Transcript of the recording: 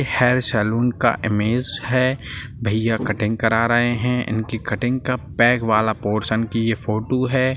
एक hair salon का image है भैया कटिंग करा रहे हैं इनकी कटिंग का पैक वाला पोर्शन कि ये फोटो है।